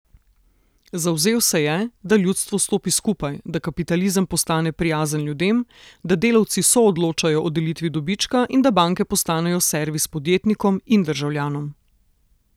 Zavzel se je, da ljudstvo stopi skupaj, da kapitalizem postane prijazen ljudem, da delavci soodločajo o delitvi dobička, in da banke postanejo servis podjetnikom in državljanom.